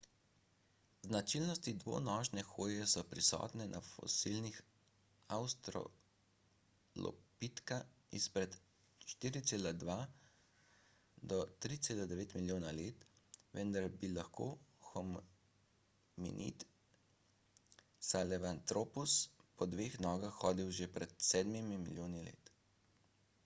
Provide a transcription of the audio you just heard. značilnosti dvonožne hoje so prisotne na fosilih avstralopitka izpred 4,2–3,9 milijona let vendar bi lahko hominid sahelanthropus po dveh nogah hodil že pred sedmimi milijoni let